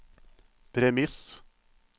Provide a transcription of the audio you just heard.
premiss